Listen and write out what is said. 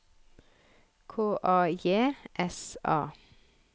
K A J S A